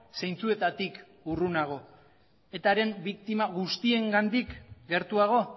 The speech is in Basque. zeintzuetatik urrunago etaren biktima guztiengandik gertuago